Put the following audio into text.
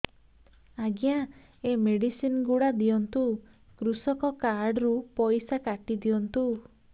ଆଜ୍ଞା ଏ ମେଡିସିନ ଗୁଡା ଦିଅନ୍ତୁ କୃଷକ କାର୍ଡ ରୁ ପଇସା କାଟିଦିଅନ୍ତୁ